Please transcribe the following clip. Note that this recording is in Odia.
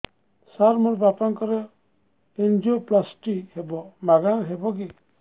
ସାର ମୋର ବାପାଙ୍କର ଏନଜିଓପ୍ଳାସଟି ହେବ ମାଗଣା ରେ ହେବ କି